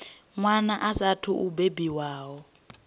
wana a saathu u bebiwaho